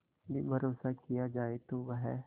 भी भरोसा किया जाए तो वह